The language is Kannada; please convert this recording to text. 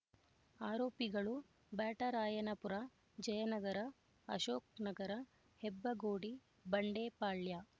ಆರೋಪಿಗಳು ಬ್ಯಾಟರಾಯನಪುರ ಜಯನಗರ ಅಶೋಕ್ ನಗರ ಹೆಬ್ಬಗೋಡಿ ಬಂಡೆಪಾಳ್ಯ